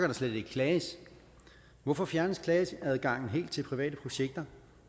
der slet ikke klages hvorfor fjernes klageadgangen helt til private projekter